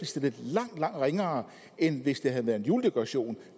stillet langt langt ringere end hvis det havde været en juledekoration